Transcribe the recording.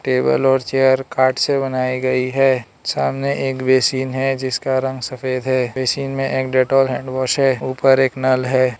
Table और chair काठ से बनाई गई है सामने एक बेसिन है जिसका रंग सफेद है बेसिन में एक डेटॉल हैंडवाश है ऊपर एक नल है।